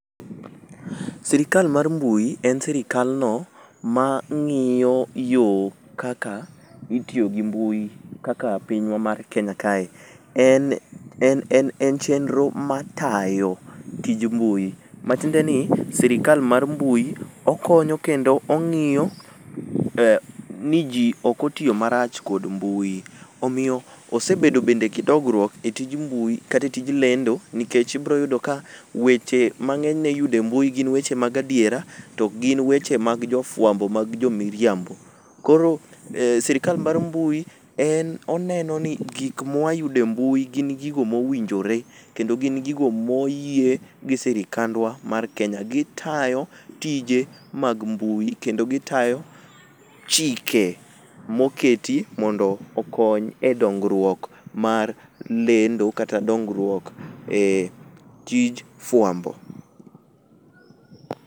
Sirikal mar mbui en sirikal no mang'iyo yoo kaka itiyo gi mui kaka pinywa mar kenya kae, en chenro matayo tij mbui matiende ni sirikal mar mbui okonyo kendo ong'iyo ni ji ok otiyo marach gi mbui, omiyo osebeo bende gi dongruok e tij mbui kata e tij lendo nikech ibiro yudo ni weche ma ng'enyne iyudo e mbui gin weche mag adiera to ok gin weche mag jo fwambo mag jo miriambo, koro sirikal mar mbui en oneno ni gik mawayudo e mbui gin gigo mowinjore kendo gin gigo moyie gi sirikandwa mar kenya, gitayo tije mag mbui kendo gitayo chike moketi mondo okony e dongruok mar lendo kata dongruok e tij fwambo.